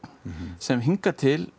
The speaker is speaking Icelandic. sem hingað til